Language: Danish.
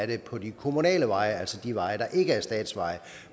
det er på de kommunale veje altså de veje der ikke er statsveje